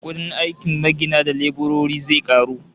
Kudin aikin magina da leburori zai karu